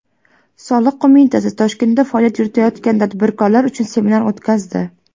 Soliq qo‘mitasi Toshkentda faoliyat yuritayotgan tadbirkorlar uchun seminar o‘tkazdi.